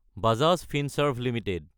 Bajaj Finserv Ltd